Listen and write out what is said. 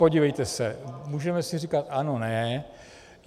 Podívejte se, můžeme si říkat ano - ne.